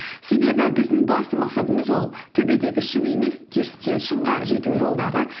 себебі біздің басты мақсатымыз ол төбедегі шың емес керісінше шыңға жету жолдары